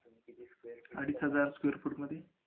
अडीच हजार square fit मध्ये